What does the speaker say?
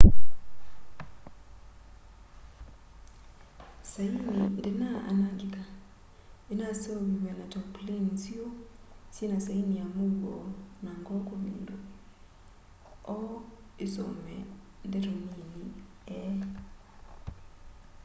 saini ndinaa anangika inaseuviw'e na tarpaulin nziu syina saini ya muuo na ngoo kuvindua o isome ndeto nini e